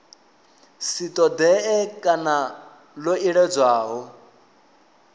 si ṱoḓee kana ḽo iledzwaho